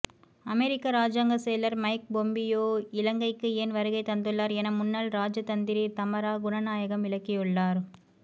அமெரிக்க ராஜாங்கச் செயலர் Mike Pompeo இலங்கைக்கு ஏன் வருகை தந்துள்ளார் என முன்னாள் இராஜதந்திரி தமரா குணநாயகம் விளக்கியுள்ளார்